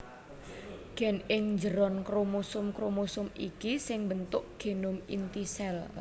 Gen ing njeron kromosom kromosom iki sing mbentuk genom inti sel